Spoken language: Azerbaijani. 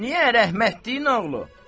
Niyə, rəhmətlinin oğlu?